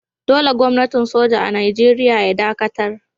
Dolle Gwamnatin soja a'Nijeriya ya dakatar.